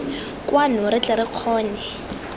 kwano re tle re kgone